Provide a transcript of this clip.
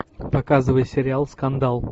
показывай сериал скандал